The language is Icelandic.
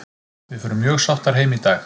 Við förum mjög sáttar heim í dag.